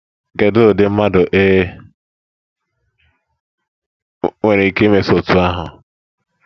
Kedụ ụdị mmadụ e nwere ike imeso otú ahụ.